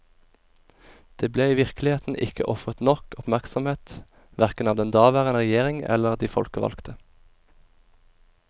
Det ble i virkeligheten ikke ofret nok oppmerksomhet, hverken av den daværende regjering eller de folkevalgte.